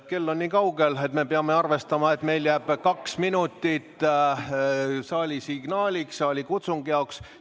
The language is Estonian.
Kell on juba niikaugel, et peame arvestama, et meil jääks kaks minutit saalikutsungi jaoks.